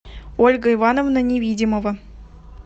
ольга ивановна невидимова